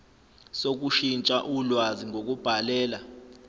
sokushintsha ulwazi ngokubhalela